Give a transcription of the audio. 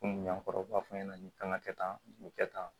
Kɔmi yan kɔrɔ u b'a fɔ ɲɛna k'an ka kɛ tan nin kɛ tan